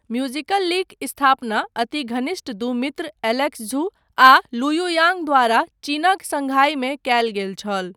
म्युजिकल्लीक स्थापना अति घनिष्ठ दू मित्र एलेक्स झु आ लुयु याङ द्वारा चीनक सङ्घाईमे कयल गेल छल।